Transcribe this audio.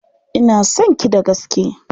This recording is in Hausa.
Ina son ki da gaske.